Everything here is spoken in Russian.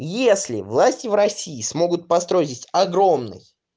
если власти в россии смогут построить здесь огромный